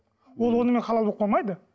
ол онымен халал болып қалмайды